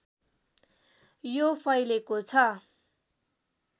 यो फैलेको छ